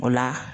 O la